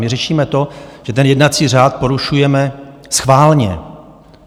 My řešíme to, že ten jednací řád porušujeme schválně.